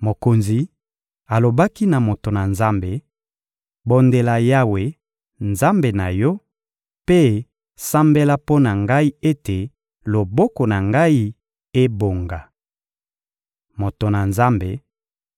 Mokonzi alobaki na moto na Nzambe: — Bondela Yawe, Nzambe na yo, mpe sambela mpo na ngai ete loboko na ngai ebonga. Moto na Nzambe